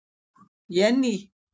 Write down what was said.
Jenný